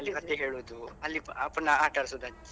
ಹೇಳುದು ಅಲ್ಲಿ ಪುನಃ ಆಟಾಡ್ಸುದು ಅಜ್ಜಿ.